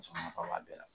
Musoman ka b'a bɛɛ la